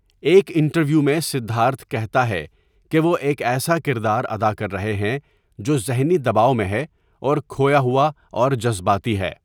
ایک انٹرویو میں سدھارتھ کہتا ہے کہ وہ ایک ایسا کردار ادا کر رہے ہیں جو ذہنی دباؤ میں ہے اور کھویا ہوا اور جذباتی ہے۔